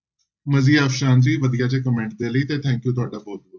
ਵਧੀਆ ਜਿਹੇ comment ਦੇ ਲਈ ਤੇ thank you ਤੁਹਾਡਾ ਬਹੁਤ ਬਹੁਤ।